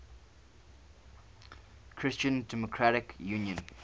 christian democratic union